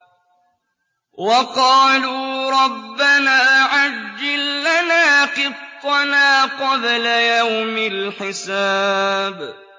وَقَالُوا رَبَّنَا عَجِّل لَّنَا قِطَّنَا قَبْلَ يَوْمِ الْحِسَابِ